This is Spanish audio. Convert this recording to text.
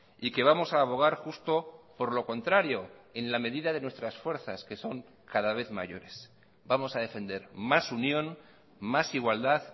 y que vamos a abogar justo por lo contrario en la medida de nuestras fuerzas que son cada vez mayores vamos a defender más unión más igualdad